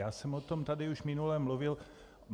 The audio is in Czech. Já jsem o tom tady už minule mluvil.